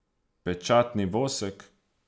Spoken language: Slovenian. Pečatni vosek.